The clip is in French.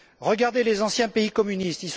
Regardez les anciens pays communistes.